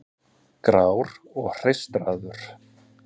Grár og hreistraður.